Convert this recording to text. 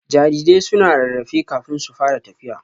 Jarirai suna rarrafe kafin su fara tafiya